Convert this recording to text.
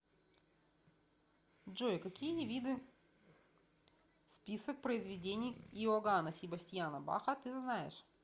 джой какие виды список произведений иоганна себастьяна баха ты знаешь